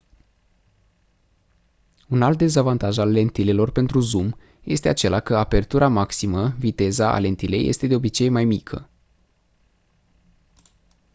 un alt dezavantaj al lentilelor pentru zoom este acela că apertura maximă viteza a lentilei este de obicei mai mică